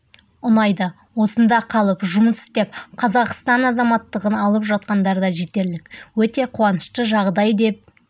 ұнайды осында қалып жұмыс істеп қазақстан азаматтығын алып жатқандар да жетерлік өте қуанышты жағдай деп